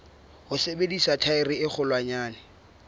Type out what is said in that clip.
ho sebedisa thaere e kgolwanyane